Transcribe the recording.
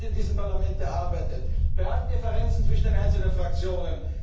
Visionen. Wir haben sie in diesem Parlament erarbeitet bei allen Differenzen zwischen den einzelnen